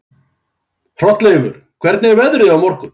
Hrolleifur, hvernig er veðrið á morgun?